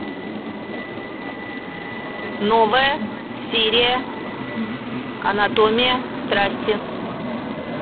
новая серия анатомия страсти